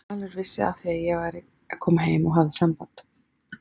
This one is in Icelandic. Valur vissi af því að ég væri að koma heim og hafði samband.